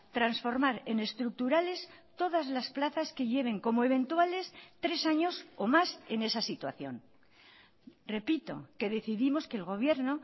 transformar en estructurales todas las plazas que lleven como eventuales tres años o más en esa situación repito que decidimos que el gobierno